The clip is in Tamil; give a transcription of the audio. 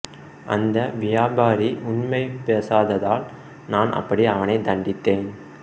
அந்த வியாபாரி உண்மை பேசாததால் நான் அப்படி அவனை தண்டித்தேன்